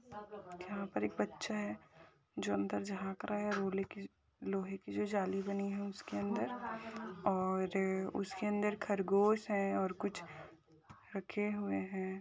यहा पर एक बच्चा है जो अंदर झाक रहा है रोले की लोहे की जो जाली बनी है उसके अंदर और उसके अंदर खरगोश है और कुछ रखे हुए है।